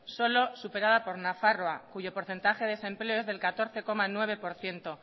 solo superada por nafarroa cuyo porcentaje de desempleo es del catorce coma nueve por ciento